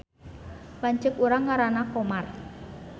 Lanceuk urang ngaranna Komar